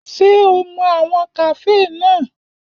Ṣé o mọ àwọn kàféè náà?